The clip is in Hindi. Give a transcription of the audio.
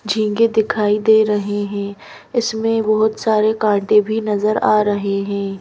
झीगें दिखाई दे रहे हैं इसमें बहोत सारे कांटे भी नजर आ रहे हैं।